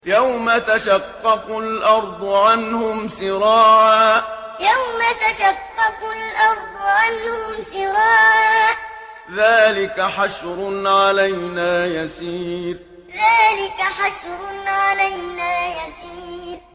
يَوْمَ تَشَقَّقُ الْأَرْضُ عَنْهُمْ سِرَاعًا ۚ ذَٰلِكَ حَشْرٌ عَلَيْنَا يَسِيرٌ يَوْمَ تَشَقَّقُ الْأَرْضُ عَنْهُمْ سِرَاعًا ۚ ذَٰلِكَ حَشْرٌ عَلَيْنَا يَسِيرٌ